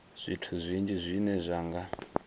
zwithu zwinzhi zwine zwa nga